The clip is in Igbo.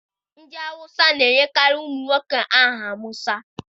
Ndị Hause na-enyekarị ụmụ nwoke ha aha Musa.